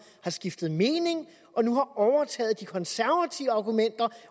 har skiftet mening og nu har overtaget de konservatives argumenter